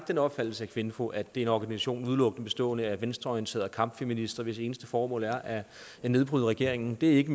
den opfattelse af kvinfo at det er en organisation udelukkende bestående af venstreorienterede kampfeminister hvis eneste formål er at nedbryde regeringen det er ikke